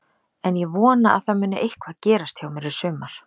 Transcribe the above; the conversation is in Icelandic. En ég vona að það muni eitthvað gerast hjá mér í sumar.